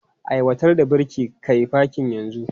Aiwatar da birki kai fakin yanzu!